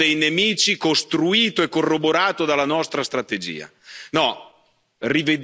Avremo il nemico dei nemici, costruito e corroborato dalla nostra strategia.